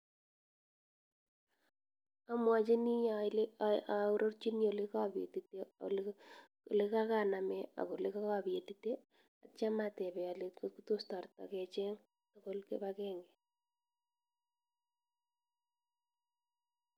Amwachin aororchini olekapetite , olekakaname olekakapetite atyam atepe ale tos tareta kecheng tugul kipakenge.